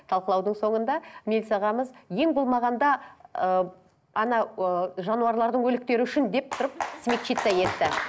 талқылаудың соңында мейлс ағамыз ең болмағанда ыыы анау ы жануарлардың өліктері үшін деп тұрып смягчиться етті